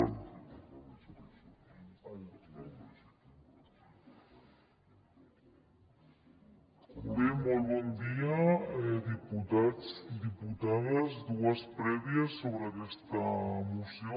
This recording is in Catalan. bé molt bon dia diputats diputades dues prèvies sobre aquesta moció